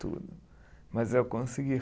Tudo. Mas eu consegui